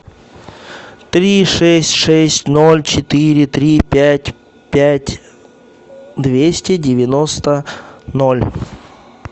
три шесть шесть ноль четыре три пять пять двести девяносто ноль